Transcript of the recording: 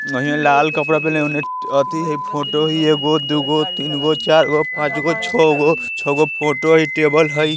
लाल कपड़ा पहनेल ओने अथि हई फोटो ही है एगो दुगो तीन गो चार गो पांच गो छौ गो छौ गो फोटो हई टेबल हई।